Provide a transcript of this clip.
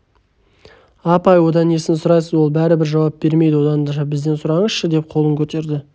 апай одан несін сұрайсыз ол бәрібір жауап бермейді оданша бізден сұраңызшы деп қолын көтерді